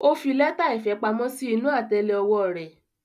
O fi lẹta ìfẹ pamọ́ sí inú atẹlẹ ọwọ́ rẹ.